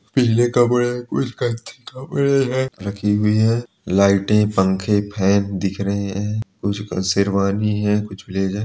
कुछ पीले कपड़े दिख रहे है रखी हुई है लाइटे कपड़े फैन दिख रहे हैं कुछ शेरवानी है कुछ ब्लेजर --